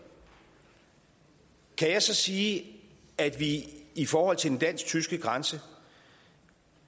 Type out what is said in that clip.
kan jeg så sige at vi i forhold til den dansk tyske grænse